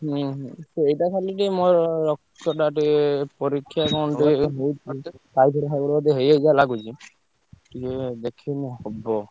ହୁଁ ହୁଁ ସେଇଟା ଖାଲି ଟିକେ ମୋର ରକ୍ତଟା ଟିକେ ପରୀକ୍ଷା କଣ ଟିକେ ହେଇ ଥାନ୍ତା। ଟାଇଫଏଡ ଫାଇଫଏଡ ଯଦି ହେଇଯାଇଥିବ ଲାଗୁଚି ଟିକେ ଦେଖିଲେ ହବ।